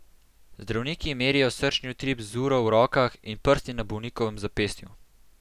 Zdravniki merijo srčni utrip z uro v rokah in prsti na bolnikovem zapestju.